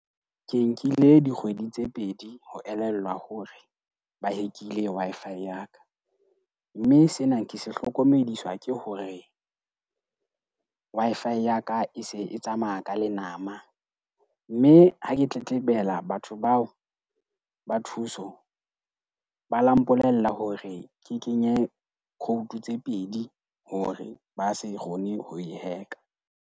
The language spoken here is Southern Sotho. Ke nkile dikgwedi tse pedi ho elellwa hore ba hack-ile Wi-Fi ya ka. Mme sena ke se hlokomediswa ke hore Wi-Fi ya ka e se e tsamaya ka lenama. Mme ha ke tletlebela batho bao ba thuso ba la mpolella hore ke kenye code tse pedi hore ba se kgone ho e hack-a.